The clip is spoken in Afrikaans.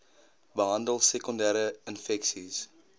behandel sekondere infeksies